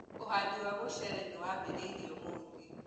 ũhandi wa mũcere niwambirĩirie ũmũthĩ.